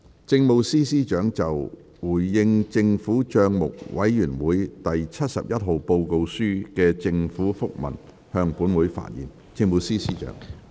政務司司長就"回應政府帳目委員會第七十一號報告書的政府覆文"向本會發言。